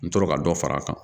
N tora ka dɔ far'a kan